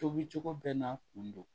Tobicogo bɛɛ n'a kun don